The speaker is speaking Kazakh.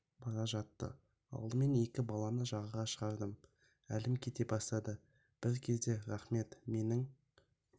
бара жатты алдымен екі баланы жаға шығардым әлім кете бастады бір кезде рахмет менің